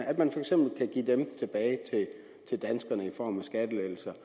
at man for eksempel kan give dem tilbage til danskerne i form af skattelettelser